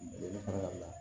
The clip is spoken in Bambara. Ne fana